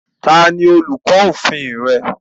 Ta ni olùkọ́ òfin rẹ